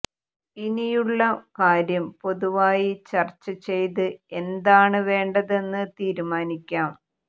ഇനിയുള്ള കാര്യം പൊതുവായി ചർച്ച ചെയ്ത് എന്താണ് വേണ്ടതെന്ന് തീരുമാനിക്കാം